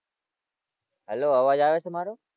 Hello અવાજ આવે છે મારો?